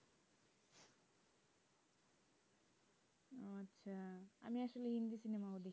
আমি একটা হিন্দি cinema